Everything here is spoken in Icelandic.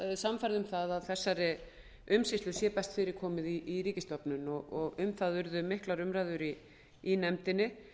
sannfærð um að þessari umsýslu sé best fyrir komið í ríkisstofnun og um það urðu miklar umræður í nefndinni